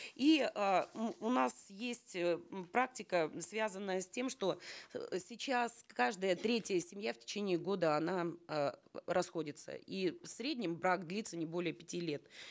и э м у нас есть э м практика связанная с тем что э сейчас каждая третья семья в течение года она э расходится и в среднем брак длится не более пяти лет